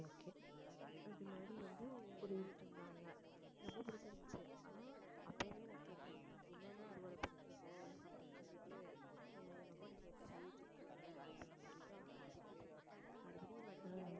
அது மாதிரி வந்து புடிங்கிட்டு இருந்தாங்க ரொம்ப பிடிச்சிருந்துச்சு ஆனா அப்பயுமே நான் கேட்டேன் என்னண்ணா அறுவடை பண்றது அப்படின்னு சொல்லிட்டு ஏன் என்னமோ நீங்க இப்படி சொல்லிட்டு இருக்கீங்க அப்படின்னு சொல்லிட்டு, அண்ணனை திட்டிட்டு இருந்தா மறுபடியும் வண்டிய எடு